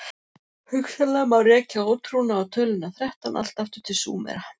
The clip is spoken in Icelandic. Hugsanlega má rekja ótrúna á töluna þrettán allt aftur til Súmera.